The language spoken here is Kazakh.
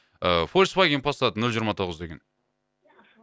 ыыы фольксваген пассат нөл жиырма тоғыз деген